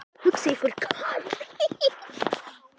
Hugsið ykkur það.